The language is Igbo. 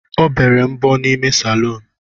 Ọ bere mbọ n’ime salọn